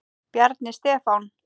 Bjarni Stefán.